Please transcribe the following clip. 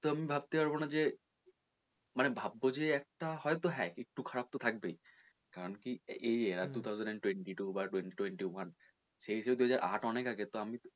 তো আমি ভাবতে পারবো না যে মানে ভাববো যে একটা হয়তো হ্যাঁ একটু খারাপ তো থাকবেই কারন কি এই year two thousand and twenty-two বা twenty twenty-one সেই হিসেবে দু হাজার আট অনেক আগে তো আমি তো,